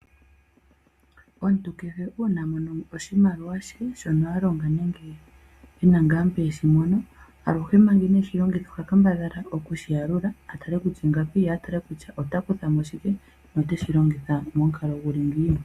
Omuntu kehe uuna amono oshimaliwa she shono alonga nenge ena ngaa mpo eshi mono, aluhe manga ineeshi longitha oha kambadhala oku shi yalula atale kutya ingapi, ye a tale kutya ota kuthamo shike noteshi longitha momukalo guli ngiini.